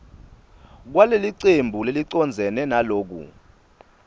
kwalelicembu lelicondzene naloku